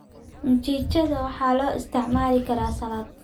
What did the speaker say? Mchichada waxaa loo isticmaali karaa salad.